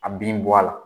A bin bɔ a la